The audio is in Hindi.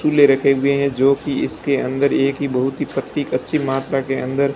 फुले रखे हुए हैं जो कि इसके अंदर एक ही बहुत ही पत्ती कच्ची मात्रा के अंदर--